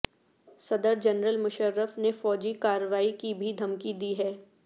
صدر جنرل مشرف نے فوجی کارروائی کی بھی دھمکی دی ہے